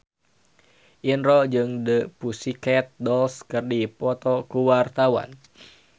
Indro jeung The Pussycat Dolls keur dipoto ku wartawan